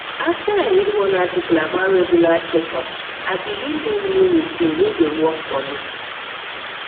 after i read one article about regular checkups i begin do new routine wey dey work for me